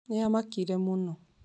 Nĩamakirie mũno